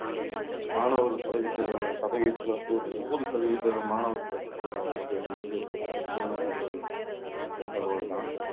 மாணவர்கள் சதவீதத்துல சதவீதத்துல வந்து ஒரு நூறு சதவீத மாணவர்கள் வந்து சீனாவுல வந்து இறந்தது ஒரு அதிர்ச்சியான ஒரு தகவல்தான்